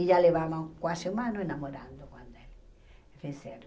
E já levava quase um ano enamorando com ele.